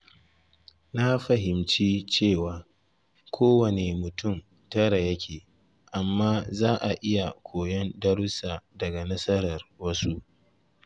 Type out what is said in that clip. Na fahimci cewa kowane mutum tara yake, amma za a iya koyon darussa daga nasarar wasu.